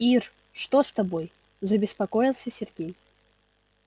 ир что с тобой забеспокоился сергей